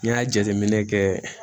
N'i y'a jateminɛ kɛ